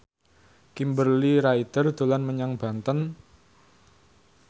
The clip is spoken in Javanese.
Kimberly Ryder dolan menyang Banten